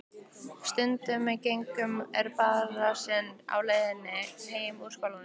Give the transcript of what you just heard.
Stundum gengum við um basarinn á leiðinni heim úr skólanum.